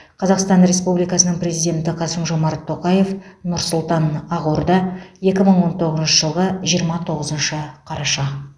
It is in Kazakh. қазақстан республикасының президенті қасым жомарт тоқаев нұр сұлтан ақорда екі мың он тоғызыншы жылғы жиырма тоғызыншы қараша